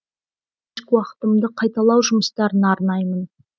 кешкі уақытымды қайталау жұмыстарына арнаймын